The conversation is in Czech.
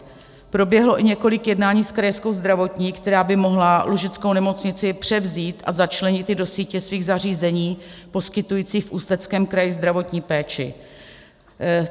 Proběhlo i několik jednání s Krajskou zdravotní, která by mohla Lužickou nemocnici převzít a začlenit ji do sítě svých zařízení poskytující v Ústeckém kraji zdravotní péči.